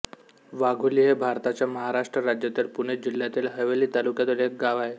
वाघोली हे भारताच्या महाराष्ट्र राज्यातील पुणे जिल्ह्यातील हवेली तालुक्यातील एक गाव आहे